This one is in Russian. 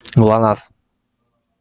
глонассс